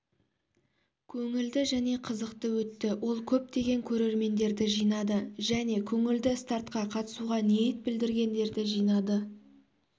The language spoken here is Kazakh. көңілді және қызықты өтті ол көптеген көрермендерді жинады және көңізді стартқа қатысуға ниет білдіргендерді жинады